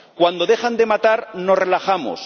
Cuando dejan de matar, nos relajamos.